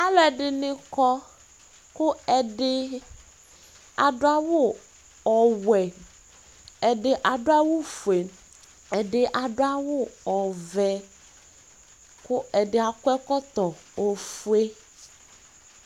Alʋ ɛdini kɔ kʋ ɛdi adʋ awʋ ɔwɛ, ɛdi adʋ awʋ fue, ɛdi adʋ awʋ vɛ, kʋ adi akɔ ɛkɔtɔ ofue